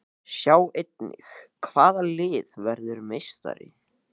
Sjá einnig: Hvaða lið verður meistari?